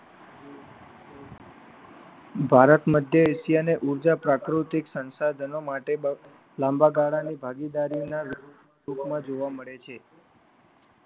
ભારત મધ્ય એશિયા અને ઉર્જા પ્રાકૃતિક સંસાધનો માટે લાંબા ગાળાની ભાગીદારીના ટૂંકમાં જોવા મળે છે.